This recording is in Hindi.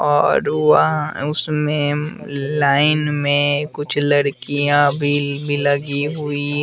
और वहां उसमें लाइन में कुछ लड़कियां भी भी लगी हुई--